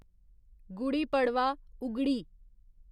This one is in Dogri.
गुड़ी पड़वा, उगड़ी